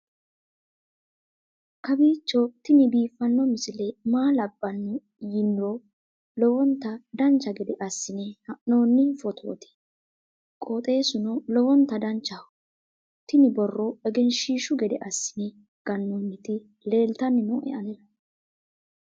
kowiicho tini biiffanno misile maa labbanno yiniro lowonta dancha gede assine haa'noonni foototi qoxeessuno lowonta danachaho. tini borro egenshshiishu gede assine gannoonniti leeltanni nooe anera